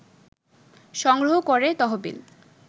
সংগ্রহ করে তহবিল